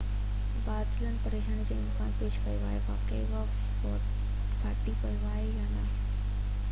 بادلن پريشاني جو امڪان پيش ڪيو آهي تہ واقعي اهو ڦاٽي پيو آهي يا نہ